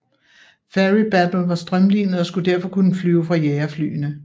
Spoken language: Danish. Fairey Battle var strømlinet og skulle derfor kunne flyve fra jagerflyene